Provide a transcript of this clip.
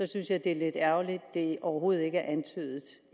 synes jeg det er lidt ærgerligt at det overhovedet ikke er antydet